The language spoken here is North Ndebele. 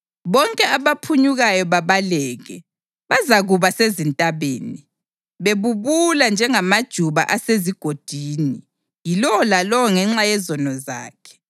Bonke abaphunyukayo babaleke bazakuba sezintabeni, bebubula njengamajuba asezigodini, yilowo lalowo ngenxa yezono zakhe.